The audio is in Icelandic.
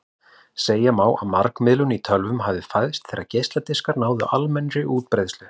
Segja má að margmiðlun í tölvum hafi fæðst þegar geisladiskar náðu almennri útbreiðslu.